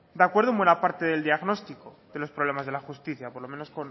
de acuerdo en buena parte del diagnóstico de los problemas de la justicia por lo menos